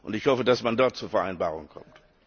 Ich hoffe, dass man dort zur Vereinbarung kommt.